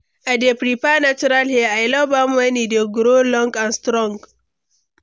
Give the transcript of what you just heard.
I dey prefer natural hair, i love am when e dey grow long and strong.